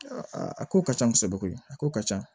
a ko ka ca kosɛbɛ koyi a ko ka ca